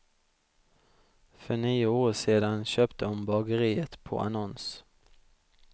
För nio år sedan köpte hon bageriet på annons.